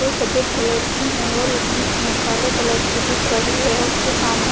जो सफेद कलर की हैं और एक बीच में काले कलर की दिख रही है उसके सामने--